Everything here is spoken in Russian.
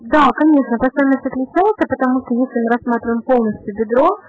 поэтому рассмотрим полностью